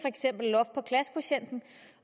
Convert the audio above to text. loft på klassekvotienten